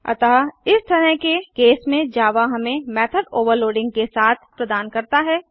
अतः इस तरह के केस में जावा हमें मेथड ओवरलोडिंग के साथ प्रदान करता है